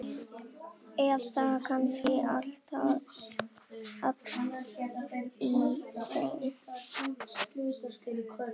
Eða kannski allt í senn?